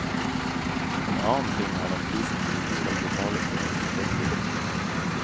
En annen ting er den prisen vi skal betale for vårt forbruk.